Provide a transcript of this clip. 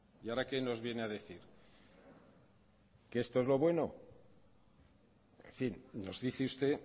y ahora que nos viene a decir que esto es lo bueno en fin nos dice usted